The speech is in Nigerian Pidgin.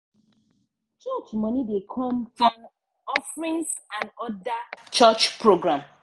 church money dey come form offerings and other church program.